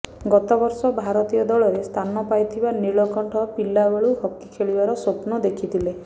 ଗତବର୍ଷ ଭାରତୀୟ ଦଳରେ ସ୍ଥାନ ପାଇଥିବା ନୀଳକଣ୍ଠ ପିଲାବେଳୁ ହକି ଖେଳିବାର ସ୍ବପ୍ନ ଦେଖିଥିଲେ